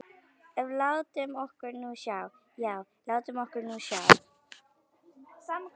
En látum okkur nú sjá, já, látum okkur nú sjá.